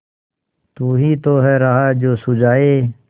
तू ही तो है राह जो सुझाए